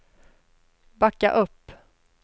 backa upp